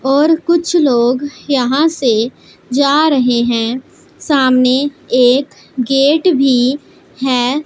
और कुछ लोग यहां से जा रहे हैं सामने एक गेट भी है।